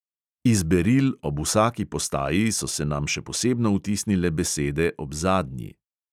Iz beril ob vsaki postaji so se nam še posebno vtisnile besede ob zadnji.